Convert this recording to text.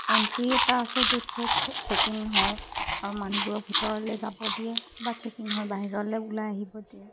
Entry এটা আছে য'ত ছেক হ ছেকিং হয় আৰু মানুহবোৰক ভিতৰলৈ যাব দিয়ে বা ছেকিং হয় বাহিৰলৈ ওলাই আহিব দিয়ে।